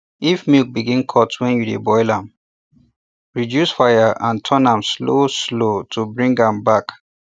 if milk begin cut when you dey boil am reduce fire and turn am slow slow to bring am bring am back